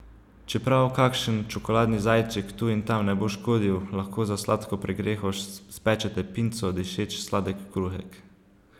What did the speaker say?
Čeprav kakšen čokoladni zajček tu in tam ne bo škodil, lahko za sladko pregreho spečete pinco, dišeč sladek kruhek.